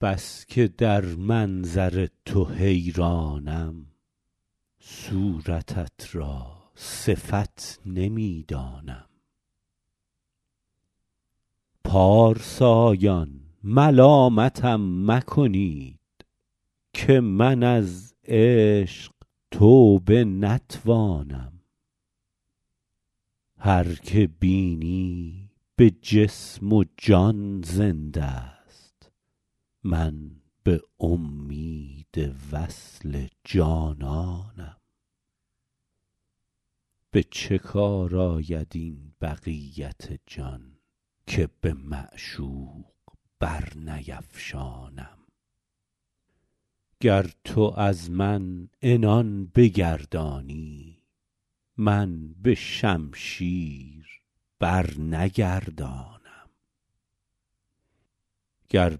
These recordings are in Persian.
بس که در منظر تو حیرانم صورتت را صفت نمی دانم پارسایان ملامتم مکنید که من از عشق توبه نتوانم هر که بینی به جسم و جان زنده ست من به امید وصل جانانم به چه کار آید این بقیت جان که به معشوق برنیفشانم گر تو از من عنان بگردانی من به شمشیر برنگردانم گر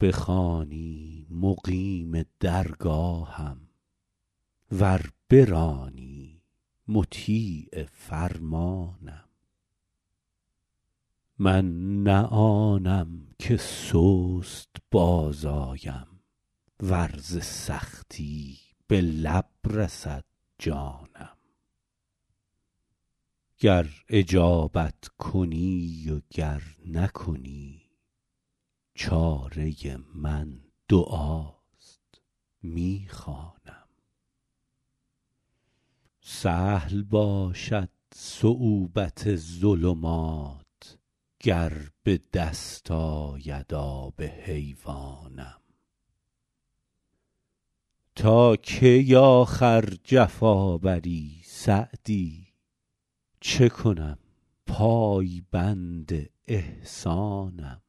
بخوانی مقیم درگاهم ور برانی مطیع فرمانم من نه آنم که سست باز آیم ور ز سختی به لب رسد جانم گر اجابت کنی و گر نکنی چاره من دعاست می خوانم سهل باشد صعوبت ظلمات گر به دست آید آب حیوانم تا کی آخر جفا بری سعدی چه کنم پایبند احسانم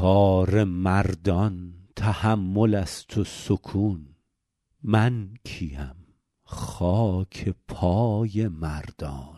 کار مردان تحمل است و سکون من کی ام خاک پای مردانم